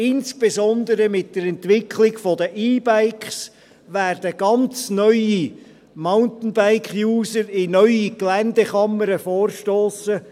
Insbesondere mit der Entwicklung der E-Bikes werden ganz neue Mountainbike-User in neue Geländekammern vorstossen.